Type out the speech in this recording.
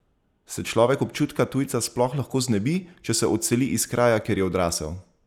Se človek občutka tujca sploh lahko znebi, če se odseli iz kraja, kjer je odrasel?